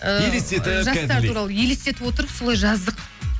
ы елестетіп жастар туралы елестетіп отырып солай жаздық